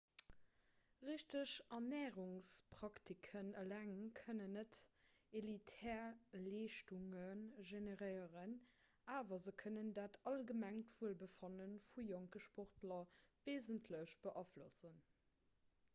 richteg ernärungspraktiken eleng kënnen net elitär leeschtunge generéieren awer se kënnen dat allgemengt wuelbefanne vu jonke sportler weesentlech beaflossen